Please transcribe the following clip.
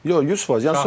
Yox, 100%.